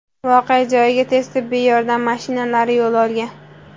Voqea joyiga tez tibbiy yordam mashinalari yo‘l olgan.